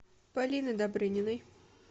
полины добрыниной